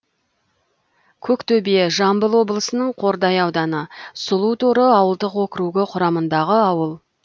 көктөбе жамбыл облысының қордай ауданы сұлуторы ауылдық округі құрамындағы ауыл